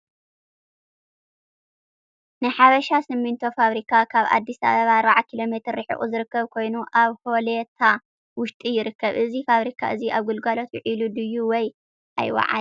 ናይ ሓበሻ ሲምቶ ፋብሪካ ካብ ኣዲስ ኣበባ 40 ኪ.ሜ ሪሒቁ ዝርከብ ከይኑ ኣበ ሆለታ ውሽጢ ይርከብ። እዚ ፋብሪካ እዚ ኣበ ግልጋሎት ዊዒሉ ድዩ ወይ ኣይዋዓለን።